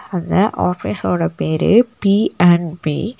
அந்த ஆஃபீஸோட பேரு பி அண்ட் பீ .